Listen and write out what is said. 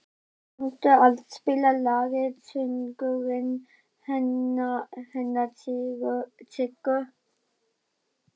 Nils, kanntu að spila lagið „Söngurinn hennar Siggu“?